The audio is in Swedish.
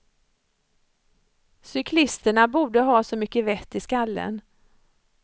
Cyklisterna borde ha så mycket vett i skallen.